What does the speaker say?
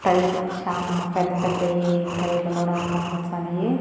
టైర్లు చానా పెద్ద పెద్దయి టైర్లు కూడా కనపచ్చాన్నయి.